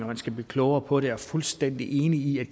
man skal blive klogere på det er fuldstændig enig i at